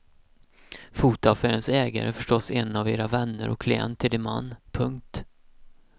Fotoaffärens ägare är förstås en av era vänner och klient till din man. punkt